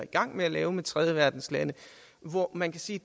i gang med at lave med tredjeverdenslande hvor man kan sige